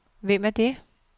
Hvem er det